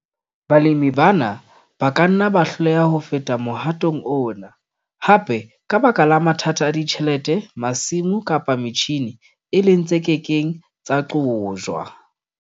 Balemi bana ba ka nna ba hloleha ho feta mohatong ona, hape ka baka la mathata a ditjhelete, masimo kapa metjhine, e leng tse ke keng tsa qojwa.